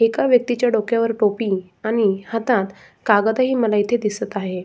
एका व्यक्ति च्या डोक्यावर टोपी आणि हातात कागद ही मला दिसत आहेत.